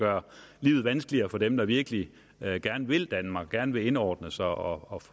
gøre livet vanskeligere for dem der virkelig gerne vil danmark gerne vil indordne sig og